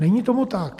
Není tomu tak.